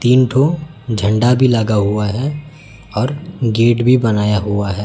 तीन ठो झंडा भी लगा हुआ है और गेट भी बनाया हुआ है।